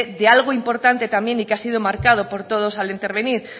de algo importante también y que ha sido marcado por todos al intervenir